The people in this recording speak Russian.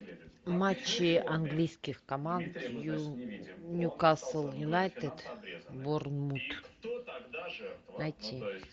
матчи английских команд ньюкасл юнайтед борнмут найти